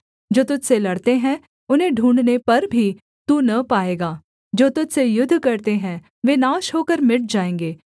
जो तुझ से लड़ते हैं उन्हें ढूँढ़ने पर भी तू न पाएगा जो तुझ से युद्ध करते हैं वे नाश होकर मिट जाएँगे